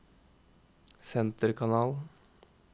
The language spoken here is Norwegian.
senterkanal